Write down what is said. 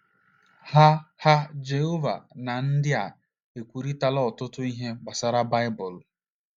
Ha Ha Jehova na ndị a ekwurịtala ọtụtụ ihe gbasara Baịbụl.